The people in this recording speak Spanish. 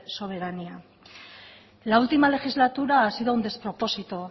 soberanía la última legislatura ha sido un despropósito